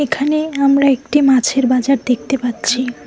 এখানে আমরা একটি মাছের বাজার দেখতে পাচ্ছি।